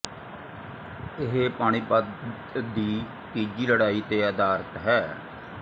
ਇਹ ਪਾਣੀਪਤ ਦੀ ਤੀਜੀ ਲੜਾਈ ਤੇ ਅਧਾਰਤ ਹੈ